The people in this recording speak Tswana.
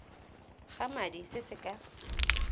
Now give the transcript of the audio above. ga madi se se ka